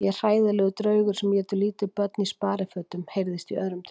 Ég er hræðilegur draugur sem étur lítil börn í sparifötum heyrðist í öðrum draug.